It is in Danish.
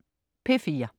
P4: